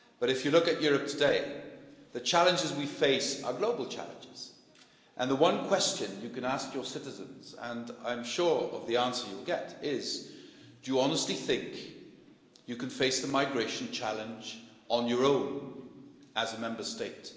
But if you look at Europe today, the challenges we face are global challenges and the one question you can ask your citizens and I am sure of the answer you'll get is, do you honestly think you can face the migration challenge on your own as a Member State?